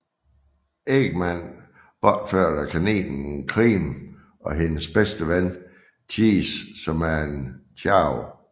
Eggman bortført kaninen Cream og hendes bedste ven Cheese som er en Chao